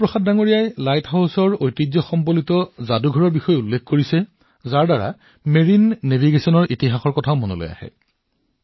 গুৰু প্ৰসাদজীয়ে লাইট হাউচৰ ঐতিহ্য সংগ্ৰহালয়ৰ বিষয়েও কৈছে যিয়ে সামুদ্ৰিক নেভিগেশ্বনৰ ইতিহাস পোহৰলৈ আনিছে